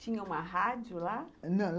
Tinha uma rádio lá? Não.